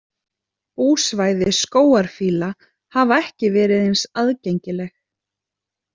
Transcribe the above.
Búsvæði skógarfíla hafa ekki verið eins aðgengileg.